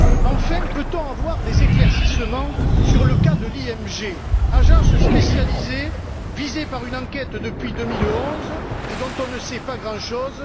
Enfin, pourrait on avoir des éclaircissements sur le cas de l'IMG, agence spécialisée visée par une enquête depuis 2011 et dont on ne sait pas grand chose?